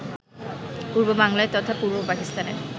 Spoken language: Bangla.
পূর্ব বাংলার তথা পূর্ব পাকিস্তানের